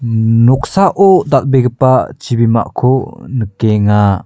mmh noksao dal·begipa chibimako nikenga.